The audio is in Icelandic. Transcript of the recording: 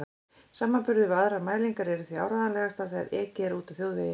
Samanburður við aðrar mælingar er því áreiðanlegastur þegar ekið er úti á þjóðvegi.